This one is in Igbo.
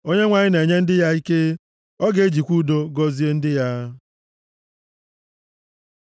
Onyenwe anyị na-enye ndị ya ike, ọ ga-ejikwa udo gọzie ndị ya.